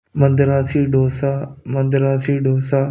Madrasi dosa Madrasi dosa --